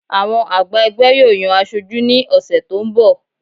Àwọn àgbà ẹgbẹ́ yóò yan aṣojú ní oṣù tó ń bọ̀